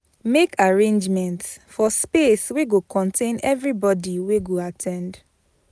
Make arrangements for space wey go contain everyboby wey go at ten d